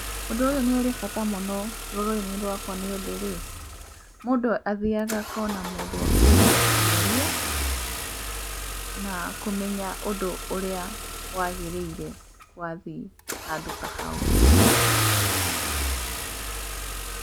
Ũndũ ũyũ nĩ ũrĩ bata mũno rũrĩrĩ-inĩ rwakwa nĩ ũndũ rĩ, mũndũ athiaga akona mũndũ wa kũũria ciũria na kũmenya ũndũ ũrĩa wagĩrĩire wathiĩ handũ ta hau.